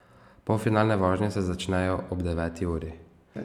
Polfinalne vožnje se začnejo ob deveti uri.